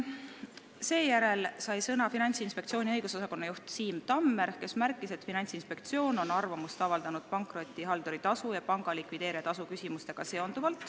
Seejärel sai sõna Finantsinspektsiooni õigusosakonna juht Siim Tammer, kes märkis, et Finantsinspektsioon on arvamust avaldanud pankrotihalduri tasu ja panga likvideerija tasu kohta.